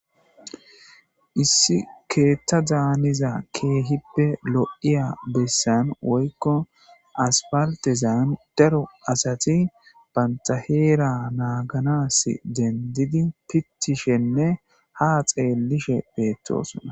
Issi keettadan haniya lo'iya bessan woykko asfaltezan daro asati banta heera naaganas denddidi pittishenne ha xeellishe beettosona.